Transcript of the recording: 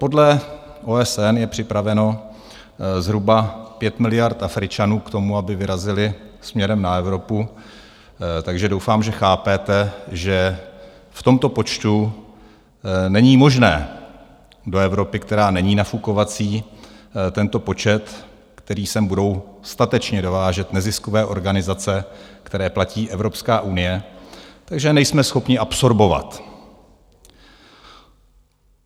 Podle OSN je připraveno zhruba 5 miliard Afričanů k tomu, aby vyrazili směrem na Evropu, takže doufám, že chápete, že v tomto počtu není možné do Evropy, která není nafukovací, tento počet, který sem budou statečně dovážet neziskové organizace, které platí Evropská unie, takže nejsme schopni absorbovat.